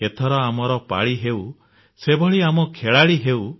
ଏଥର ଆମର ପାଳି ହେଉ ସେଭଳି ଆମେ ଖେଳାଳି ହେଉ